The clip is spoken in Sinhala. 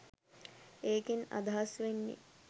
ඒකෙන් අදහස් වෙන්නෙ